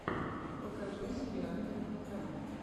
покажи сериального кота